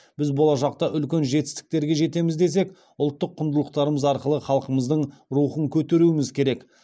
біз болашақта үлкен жетістіктерге жетеміз десек ұлттық құндылықтарымыз арқылы халқымыздың рухын көтеруіміз керек